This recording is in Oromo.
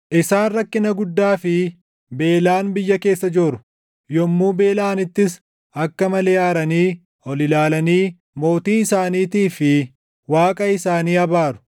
Isaan rakkina guddaa fi beelaan biyya keessa jooru; yommuu beelaʼanittis akka malee aaranii, ol ilaalanii mootii isaaniitii fi Waaqa isaanii abaaru.